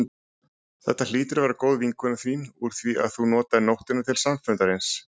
Þetta hlýtur að vera góð vinkona þín úr því að þú notaðir nóttina til samfundarins.